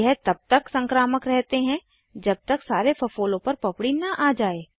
यह तब तक संक्रामक रहते है जब तक सारे फफोलों पर पपड़ी न आ जाये